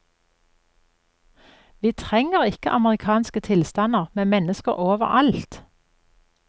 Vi trenger ikke amerikanske tilstander med mennesker overalt.